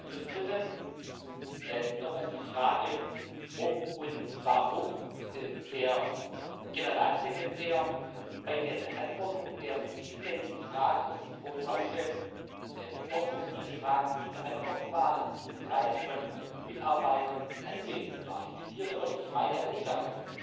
ist. Zum Dritten nochmals die Frage, ob und warum der Generalsekretär bei der Beantwortung der vielfältigen Fragen aus diesem hohen Hause dort, wo diese Fragen zu beantworten waren, in diesem Kreise von Mitarbeitern anwesend war Ich zitiere wörtlich meine Aussage